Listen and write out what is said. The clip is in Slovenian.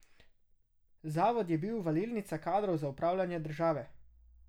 Zavod je bil valilnica kadrov za upravljanje države.